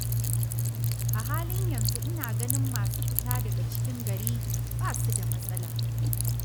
A halin yanzu ina ganin masu fita daga cikin gari ba su da matsala.